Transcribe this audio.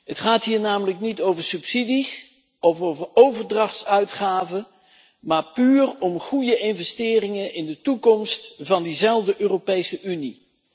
Het gaat hier namelijk niet over subsidies of over overdrachtsuitgaven, maar puur om goede investeringen in de toekomst van diezelfde Europese Unie.